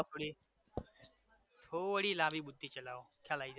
થોડી થોડી લાંબી બુદ્ધિ ચલાવો ખ્યાલ આઈ જશે